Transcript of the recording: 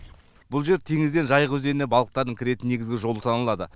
бұл жер теңізден жайық өзеніне балықтардың кіретін негізгі жолы саналады